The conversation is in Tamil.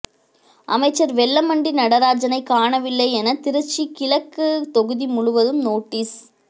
அமைச்சர் வெல்லமண்டி நடராஜனை காணவில்லை என திருச்சி கிழக்கு தொகுதி முழுவதும் நோட்டீஸ்